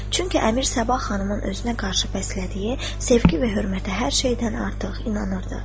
Çünki əmir sabah xanımın özünə qarşı bəslədiyi sevgi və hörmətə hər şeydən artıq inanırdı.